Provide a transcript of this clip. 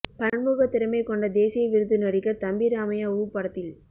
பன்முகத் திறமை கொண்ட தேசிய விருது நடிகர் தம்பி ராமையா உ படத்தில்